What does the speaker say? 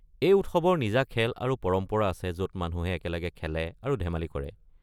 এই উৎসৱৰ নিজা খেল আৰু পৰম্পৰা আছে য'ত মানুহে একেলগে খেলে আৰু ধেমালি কৰে।